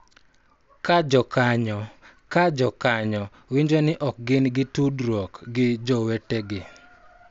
Ka jokanyo ka jokanyo winjo ni ok gin gi tudruok gi jowetegi.